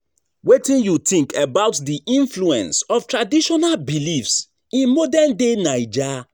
Wetin you think about di influence of traditional beliefs in modern-day Naija?